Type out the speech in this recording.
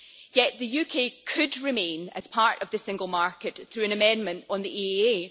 Yet the UK could remain as part of the single market through an amendment on the EEA.